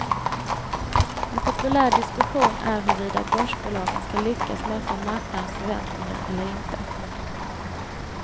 En populär diskussion är huruvida börsbolagen ska lyckas möta marknadens förväntningar eller inte.